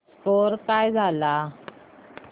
score काय झाला